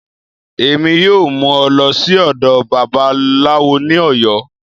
Emi yọọ mu ọ lọ si ọdọ Babalawọ ni Oyo.